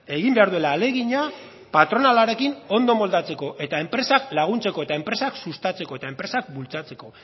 egin behar duela ahalegina patronalarekin ondo moldatzeko eta enpresak laguntzeko eta enpresak sustatzeko eta enpresak bultzatzeko